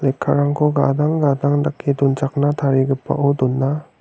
lekkarangko gadang gadang dake donchakna tarigipao dona.